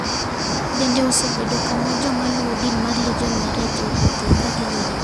Bende osebedo kama joma luwo din mar Legion Maria jowuothoe ka gilemo,